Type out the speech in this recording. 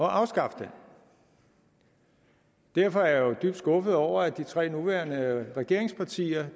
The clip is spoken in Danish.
afskaffe den derfor er jeg jo dybt skuffet over at de tre nuværende regeringspartier